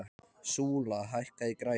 Súla, hækkaðu í græjunum.